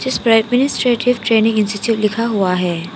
इसपे administrative training institute लिखा हुआ है।